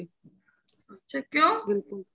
ਕਿਉ